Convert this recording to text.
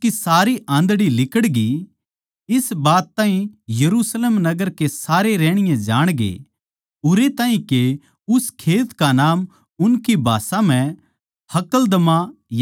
इस बात ताहीं यरुशलेम नगर के सारे रहणीये जाणगे उरै ताहीं के उस खेत का नाम उनकी भाषा म्ह हक्कलदमा यानिके लहू का खेत पड़ग्या